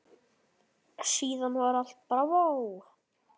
Síðan var allt bravó.